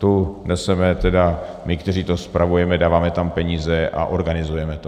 Tu neseme tedy my, kteří to spravujeme, dáváme tam peníze a organizujeme to.